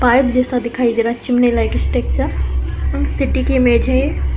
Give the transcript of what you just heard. Pipe जैसा दिखाई दे रहा है चिमनी लाइक सिटी की इमेज है ये।